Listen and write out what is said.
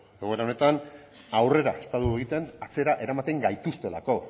egoera honetan aurrera ez badugu egiten atzera eramaten gaituztelako